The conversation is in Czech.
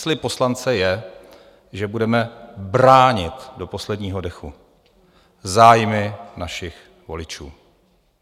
Slib poslance je, že budeme bránit do posledního dechu zájmy našich voličů.